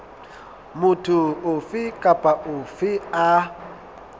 motho ofe kapa ofe a